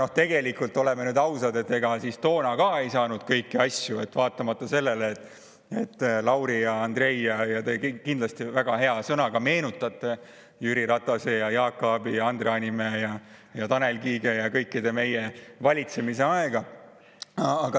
Aga tegelikult, oleme ausad, ega ka toona ei saanud kõiki asju, vaatamata sellele, Lauri ja Andrei, et te kindlasti väga hea sõnaga meenutate Jüri Ratase ja Jaak Aabi ja Andre Hanimäe ja Tanel Kiige ja kõikide meie valitsemise aega.